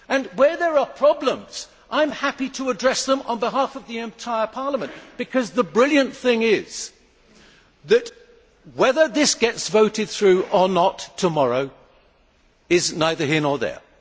Where there are problems, I am happy to address them on behalf of the entire Parliament because the brilliant thing is that whether this gets voted through or not tomorrow is neither here nor there.